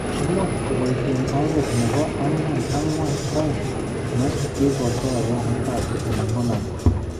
Imuuch koboisye oret nebo 4-4-2 ne kigakosoyan mbappe eng Monaco